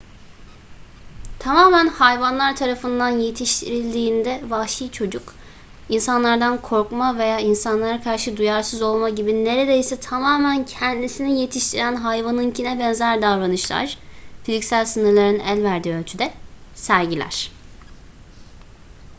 tamamen hayvanlar tarafından yetiştirildiğinde vahşi çocuk insanlardan korkma veya insanlara karşı duyarsız olma gibi neredeyse tamamen kendisini yetiştiren hayvanınkine benzer davranışlar fiziksel sınırların el verdiği ölçüde sergiler